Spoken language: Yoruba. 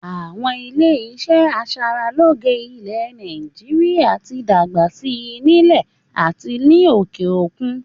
Àwọn ilé iṣẹ́ aṣaralóge ilé Nàìjíríà tí dàgbà si nílẹ̀ àti ní òkè òkun